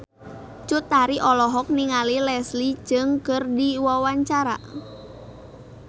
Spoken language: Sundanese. Cut Tari olohok ningali Leslie Cheung keur diwawancara